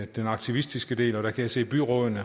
den aktivistiske del og jeg kan se at byrådene